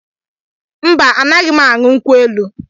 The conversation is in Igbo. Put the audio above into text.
Mba, anaghị m aṅụ nkwụ elu.